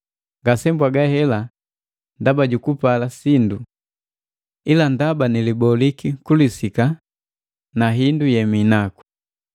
Ngasebwaga hela ndaba jukupala sindu! Ndaba niliboliki kulisika na hindu yeminaku.